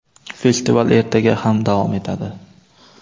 Festival ertaga ham davom etadi!.